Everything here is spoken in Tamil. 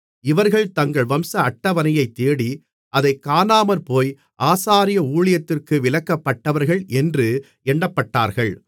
இவர்கள் தங்கள் வம்ச அட்டவணையைத் தேடி அதைக் காணாமற்போய் ஆசாரிய ஊழியத்திற்கு விலக்கப்பட்டவர்கள் என்று எண்ணப்பட்டார்கள்